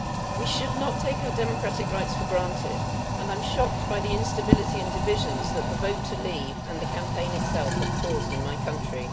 We should not take our democratic rights for granted and I am shocked by the instability and divisions that the vote to leave, and the campaign itself, have caused in my country.